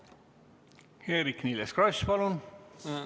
Eerik-Niiles Kross, palun!